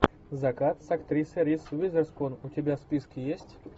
закат с актрисой риз уизерспун у тебя в списке есть